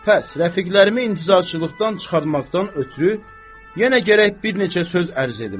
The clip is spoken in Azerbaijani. Pəs, rəfiqlərimi intizarçılıqdan çıxartmaqdan ötrü yenə gərək bir neçə söz ərz edim.